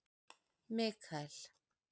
Mikael